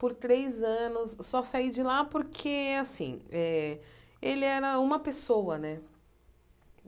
por três anos, só sai de lá porque, assim eh, ele era uma pessoa, né?